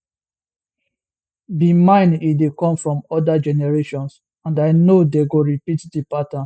be mine e dey come from oda generations and i no dey go to repeat di pattern